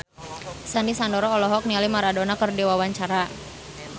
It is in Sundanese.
Sandy Sandoro olohok ningali Maradona keur diwawancara